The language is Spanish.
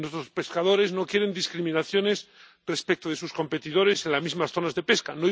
Nuestros pescadores no quieren discriminaciones respecto de sus competidores en las mismas zonas de pesca.